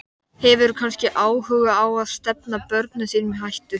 Hefurðu kannski áhuga á að stefna börnunum þínum í hættu?